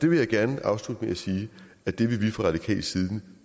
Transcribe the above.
vil gerne afslutte med at sige at det vil vi fra radikal side